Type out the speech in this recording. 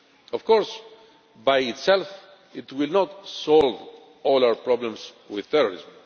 Of course, by itself it will not solve all our problems with terrorism.